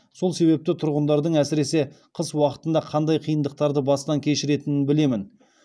сол себепті тұрғындардың әсіресе қыс уақытында қандай қиындықтарды бастан кешіретінін білемін